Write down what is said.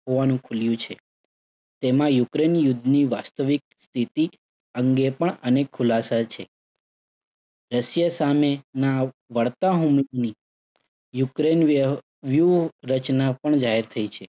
હોવાનું ખુલ્યું છે. તેમાં યુક્રેઇન યુદ્ધની વાસ્તવિક સ્થિતિ અંગે પણ અનેક ખુલાસા છે. રશિયા સામેના વળતા ની યુક્રેઇન વ્યવ્યુહ રચના પણ જાહેર થઇ છે.